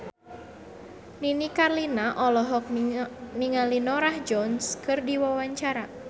Nini Carlina olohok ningali Norah Jones keur diwawancara